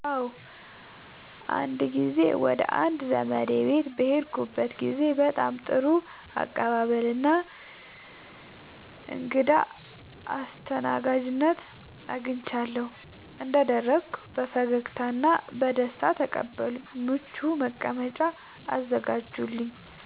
አዎ፣ አንድ ጊዜ ወደ አንድ ዘመዴ ቤት በሄድኩበት ጊዜ በጣም ጥሩ አቀባበል እና እንግዳ አስተናጋጅነት አግኝቻለሁ። እንደደረስኩ በፈገግታ እና በደስታ ተቀበሉኝ፣ ምቹ መቀመጫ አዘጋጁልኝ